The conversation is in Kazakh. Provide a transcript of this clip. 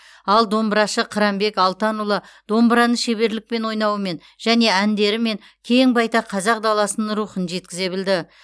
ал домбырашы қыранбек алтанұлы домбыраны шеберлікпен ойнауымен және әндерімен кең байтақ қазақ даласының рухын жеткізе білді